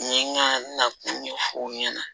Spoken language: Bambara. N ye n ka na ɲɛfɔ aw ɲɛna